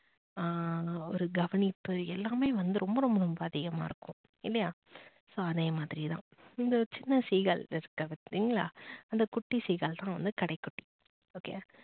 ஆஹ் ஒரு கவனிப்பு எல்லாமே வந்து ரொம்ப ரொம்ப ரொம்ப அதிகமா இருக்கும். இல்லையா so அதே மாதிரி தான் இந்த சின்ன seegal பாத்தீங்களா அந்த குட்டி சீகல் தான் வந்து கடைக்குட்டி okay வா